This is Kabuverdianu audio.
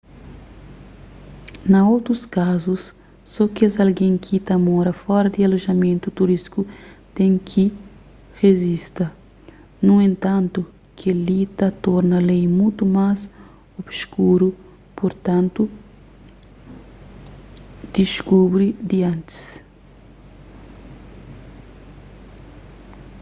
na otus kazus so kes algen ki ta mora fora di alojamentu turístiku ten ki rejista nu entantu kel-li ta torna lei mutu más obskuru purtantu diskubri di antis